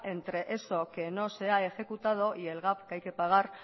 entre eso que no se ha ejecutado y el gasto que hay que pagar